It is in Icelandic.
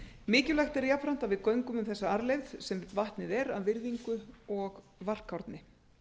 mikilvægt er jafnframt að við göngum um þessa arfleifð sem vatnið er af virðingu og varkárni